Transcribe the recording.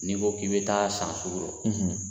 N'i ko k'i bɛ taa san sugu rɔ